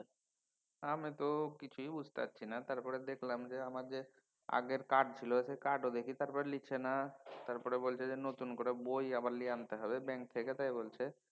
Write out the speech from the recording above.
আমি তো কিছুই বুঝতে পারছি না তারপরে দেখলাম যে আমাদের আগের card ছিল সেই card ও দেখি তারপর লিচ্ছে না। তারপর বলছে নতুন করে বই আমার লিয়ে আনতে হবে bank থেকে তাই বলছে।